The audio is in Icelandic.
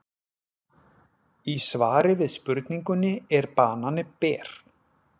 Í svari við spurningunni Er banani ber?